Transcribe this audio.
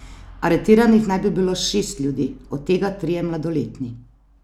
Aretiranih naj bi bilo šest ljudi, od tega trije mladoletni.